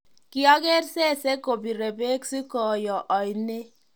kiaker sesee kopiree bek sikooyo oinee